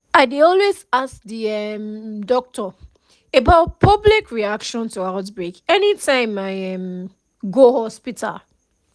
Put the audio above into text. i dey always ask the um doctor about public reaction to outbreak anytime i um go hospital